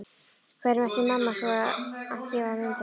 Hverjum ætti mamma svo sem að gefa mynd af þeim?